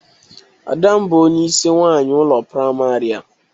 Ada m bụ onyeisi nwaanyị ụlọ prịmarị a.